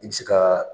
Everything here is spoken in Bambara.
I bɛ se ka